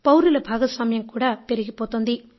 పౌరుల భాగస్వామ్యం కూడా పెరిగిపోతోంది